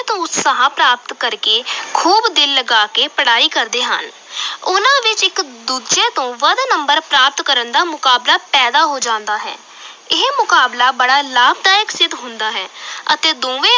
ਤੋਂ ਉਤਸ਼ਾਹ ਪ੍ਰਾਪਤ ਕਰ ਕੇ ਖੂਬ ਦਿਲ ਲਗਾ ਕੇ ਪੜ੍ਹਾਈ ਕਰਦੇ ਹਨ ਉਨਾਂ ਵਿਚ ਇਕ ਦੂਜੇ ਤੋਂ ਵੱਧ ਕੇ number ਪ੍ਰਾਪਤ ਕਰਨ ਦਾ ਮੁਕਾਬਲਾ ਪੈਦਾ ਹੋ ਜਾਂਦਾ ਹੈ ਇਹ ਮੁਕਾਬਲਾ ਬੜਾ ਲਾਭਦਾਇਕ ਸਿੱਧ ਹੁੰਦਾ ਹੈ ਅਤੇ ਦੋਵੇਂ